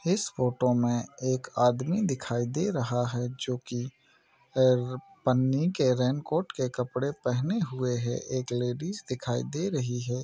इस फोटो मे एक आदमी दिखाई दे रहा है जो की पैर पन्नी के रेनकोट के कपड़े पेहेने हुए है एक लेडीज दिखाई दे रही है।